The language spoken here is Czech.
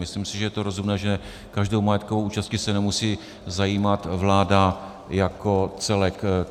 Myslím si, že je to rozumné, že každou majetkovou účastí se nemusí zabývat vláda jako celek.